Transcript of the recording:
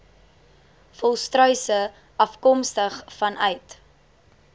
volstruise afkomstig vanuit